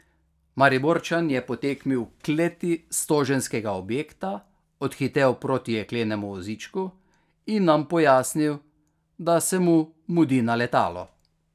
Mariborčan je po tekmi v kleti stoženskega objekta odhitel proti jeklenemu vozičku in nam pojasnil, da se mu mudi na letalo.